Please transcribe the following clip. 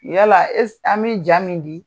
Yala an bɛ ja min di